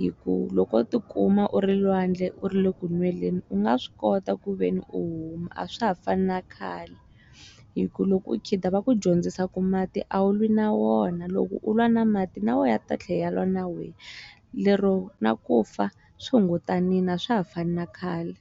hi ku loko tikuma u ri lwandle u ri le kunweleni u nga swi kota kuveni u huma a swa ha fani na khale hi ku loko u khida va ku dyondzisa ku mati a wu lwi na wona loko u lwa na mati na wo a ta tlhela a lwa na wehe lero na ku fa swi hungutanini a swa ha fani na khale.